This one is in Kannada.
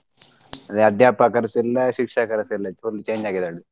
ಅದೇ ಅಧ್ಯಾಪಕರ್ಸ ಇಲ್ಲ ಶಿಕ್ಷಕರ್ಸ ಇಲ್ಲ full change ಆಗಿದ್ದಾರೆ.